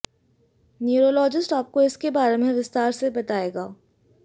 neurologist आपको इसके बारे में विस्तार से बताएगा